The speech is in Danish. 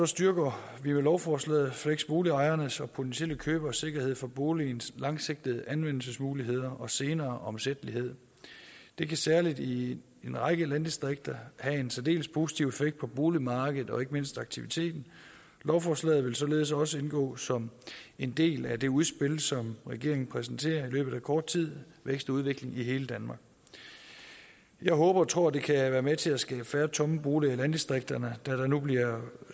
styrker vi med lovforslaget fleksboligejernes og potentielle køberes sikkerhed for boligens langsigtede anvendelsesmuligheder og senere omsættelighed det kan særlig i en række landdistrikter have en særdeles positiv effekt på boligmarkedet og ikke mindst aktiviteten lovforslaget vil således også indgå som en del af det udspil som regeringen præsenterer i løbet af kort tid vækst og udvikling i hele danmark jeg håber og tror at det kan være med til at skabe færre tomme boliger i landdistrikterne da der nu bliver